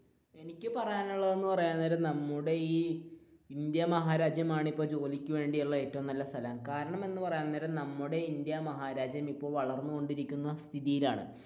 എനിക്ക് പറയാനുള്ളത് എന്ന് പറയാൻ നേരം നമ്മുടെ ഈ ഇന്ത്യ മഹാരാജ്യമാണ് ജോലിക്ക് വേണ്ടിയുള്ള ഏറ്റവും നല്ല സ്ഥലം കാരണം എന്ന് പറയാൻ നേരം നമ്മുടെ ഇന്ത്യ മഹാരാജ്യം വളർന്നു കൊണ്ടിരിക്കുന്ന സ്ഥിതിയിലാണ്